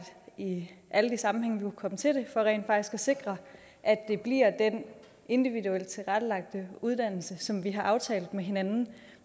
i alle de sammenhænge vi kunne komme til det for rent faktisk at sikre at det bliver den individuelt tilrettelagte uddannelse som vi har aftalt med hinanden